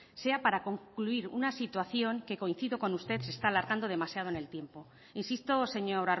sea para concluir una situación que coincido con usted se está alargando demasiado en el tiempo insisto señor